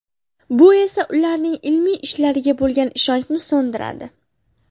Bu esa ularning ilmiy ishlariga bo‘lgan ishonchni so‘ndiradi.